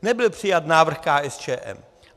Nebyl přijat návrh KSČM.